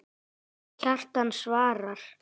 Kjartan svarar